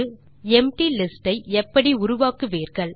நீங்கள் empty list ஐ எப்படி உருவாக்குவீர்கள்